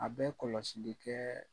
A bɛ kɔlɔsili kɛɛ